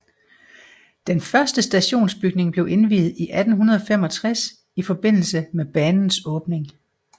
Den første stationsbygning blev indviet i 1865 i forbindelse med banens åbning